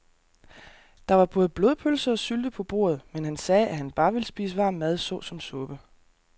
Der var både blodpølse og sylte på bordet, men han sagde, at han bare ville spise varm mad såsom suppe.